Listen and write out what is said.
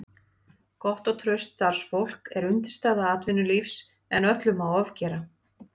Gott og traust starfsfólk er undirstaða atvinnulífsins en öllu má ofgera.